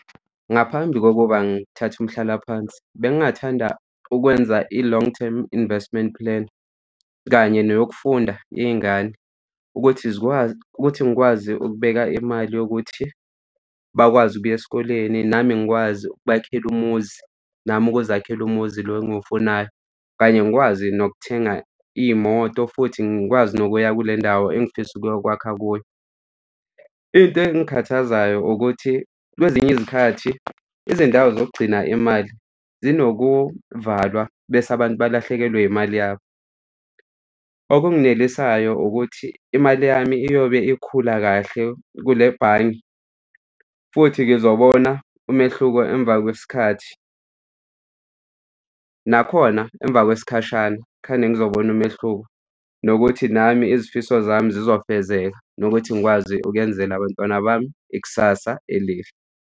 Ngaphambi kokuba ngithathe umhlalaphansi, bengingathanda ukwenza i-long term investment plan, kanye neyokufunda yey'ngane ukuthi zikwazi, ukuthi ngikwazi ukubeka imali yokuthi bakwazi ukuya esikoleni nami ngikwazi ukubakhela umuzi nami ukuzakhela umuzi lo engiwufunayo kanye ngikwazi nokuthenga iy'moto futhi ngikwazi nokuya kule ndawo engifisa ukuyokwakha kuyo. Into ezingikhathazayo ukuthi kwezinye izikhathi izindawo zokugcina imali zinokuvalwa bese abantu balahlekelwe imali yabo. Okunginelisayo ukuthi imali yami iyobe ikhula kahle kule bhange, futhi ngizobona umehluko emva kwesikhathi, nakhona emva kwesikhashana khane ngizobona umehluko nokuthi nami izifiso zami zizofezeka nokuthi ngikwazi ukwenzela abantwana bami ikusasa elihle.